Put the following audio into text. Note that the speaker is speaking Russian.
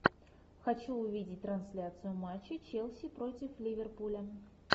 хочу увидеть трансляцию матча челси против ливерпуля